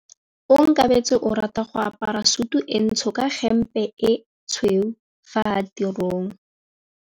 Onkabetse o rata go apara sutu e ntsho ka hempe e tshweu fa a ya tirong.